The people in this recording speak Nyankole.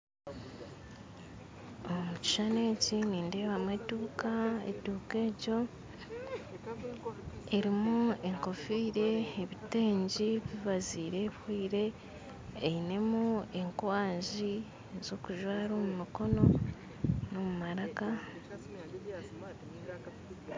Aha kishushani eki nindebamu eduuka eduuka egyo erumu enkofiira ebitenge bibaziire bihweire einemu enkwanzi z'okujwara omumikono n'omumaraka.